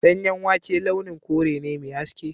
Danyen wake launin kore ne mai haske.